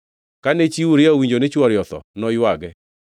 Kane chi Uria owinjo ni chwore otho, noywage.